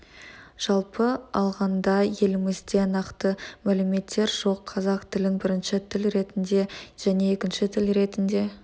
жалпы алғанда елімізде нақты мәліметтер жоқ қазақ тілін бірінші тіл ретінде және екінші тіл ретінде